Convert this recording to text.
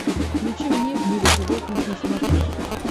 включи мне в мире животных на смотрешке